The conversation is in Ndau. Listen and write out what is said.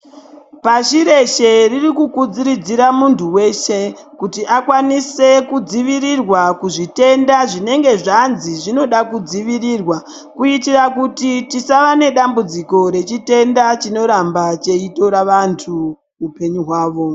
Pashi reshe ririkukuridzira muntu weshe kuti akwanise kudzivirirwa kuzvitenda zvinenge zvanzi zvinoda kudzivirirwa kuitira kuti tisave nedambudziko re chitenda chinoramba cheitora vantu upenyu hwavo.